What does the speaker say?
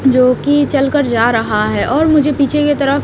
जोकि चलकर जा रहा है और मुझे पीछे की तरफ --